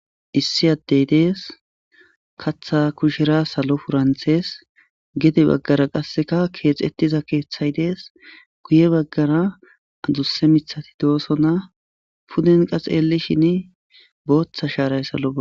issi addey dees katha kushera salo puranthees gede baggara qasseka keexettiza keeththay dees guye baggara adusse mithati dooso na puden qaseelishin booththa shaaray salo aa